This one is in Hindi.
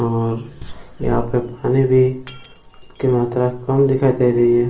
और यहाँ पर पानी भी की मात्रा कम दिखाई दे रही है।